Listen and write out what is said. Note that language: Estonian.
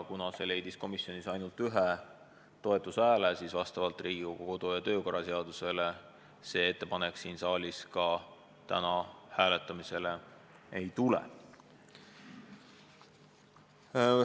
Kuna ettepanek sai komisjonis ainult ühe toetushääle, siis vastavalt Riigikogu kodu- ja töökorra seadusele see ettepanek täna siin saalis hääletamisele ei tule.